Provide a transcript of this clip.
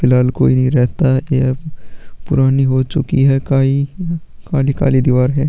फिलाल कोई रहता है यह पुरानी हो चुकी है काई काली काली दिवाल है।